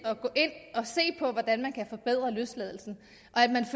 at og se på hvordan man kan forbedre løsladelsen